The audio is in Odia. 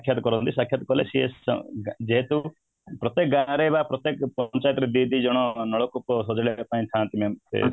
ସାକ୍ଷାତ କରନ୍ତି ସାକ୍ଷାତ କଲେ ସିଏ ଯେହେତୁ ପ୍ରତ୍ୟେକ ଗାଁ ରେ ବା ପ୍ରତ୍ୟେକ ପଞ୍ଚାୟତ ରେ ଦି ଦି ଜଣ ନଳକୂପ ସଜାଡ଼ିବା ପାଇଁ ଥାନ୍ତି ନା ଯେ